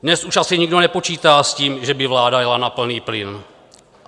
Dnes už asi nikdo nepočítá s tím, že by vláda jela na plný plyn.